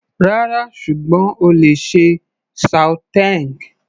Rárá, ṣùgbọ́n o lè ṣe sauteing.